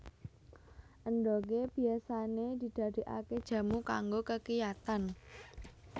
Endhogé biasané didadèkaké jamu kanggo kekiyatan